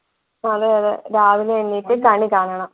അതെ അതെ രാവിലെ എണീറ്റ് കണി കാണണം